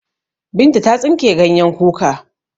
Binta ta tsinke ganyen kuka.